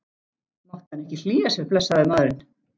Mátti hann ekki hlýja sér, blessaður maðurinn?